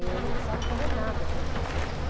Eu não precisava fazer nada para ele gostar de mim.